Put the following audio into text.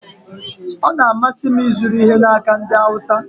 Ọ na-amasị m ịzụrụ ihe n'aka ndị Awụsa